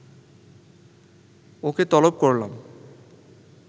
ওকে তলব করলাম